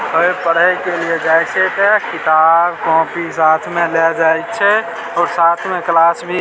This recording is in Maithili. कोय पढ़े के लिए जाय छै ते किताब कॉपी में लेए जाय छै तो साथ में क्लास भी --